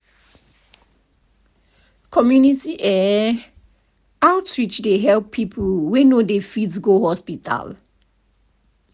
pause - community eh outreach dey help people wey no dey fit go hospital.